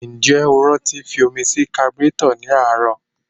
Ǹjẹ́ o rántí fi omi sí kaburétọ̀ ní àárọ̀?